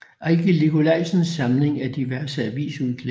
Ejgil Nikolajsens Samling af diverse avisudklip